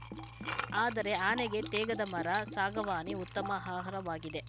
ಆದರೆ ಆನೆಗೆ ತೇಗದ ಮರ ಸಾಗವಾನಿ ಉತ್ತಮ ಆಹಾರವಾಗಿದೆ